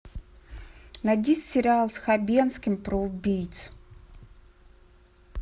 найди сериал с хабенским про убийц